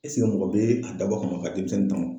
mɔgɔ bɛ a dabɔ a kama ka denmisɛnnin